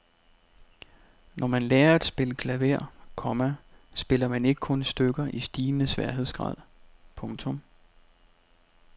Når man lærer at spille klaver, komma spiller man ikke kun stykker i stigende sværhedsgrad. punktum